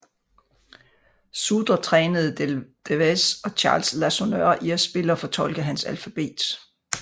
Sudre trænede Deldevez og Charles Lasonneur i at spille og fortolke hans alfabet